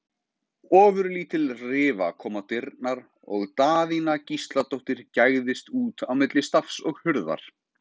Ofurlítil rifa kom á dyrnar og Daðína Gísladóttir gægðist út á milli stafs og hurðar.